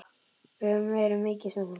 Við höfum verið mikið saman.